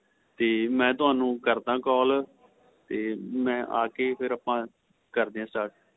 ਤੇ ਮੈਂ ਤੁਹਾਨੂੰ ਕਰਦਾ call ਤੇ ਮੈਂ ਆਕੇ ਫ਼ਿਰ ਆਪਾਂ ਕਰਦਿਆ start